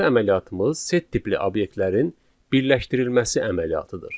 Növbəti əməliyyatımız set tipli obyektlərin birləşdirilməsi əməliyyatıdır.